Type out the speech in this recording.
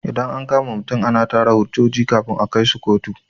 Idan an kama mutum ana tara hujjoji kafin a kaishi kotu.